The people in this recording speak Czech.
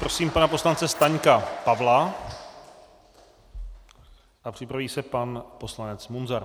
Prosím pana poslance Staňka Pavla a připraví se pan poslanec Munzar.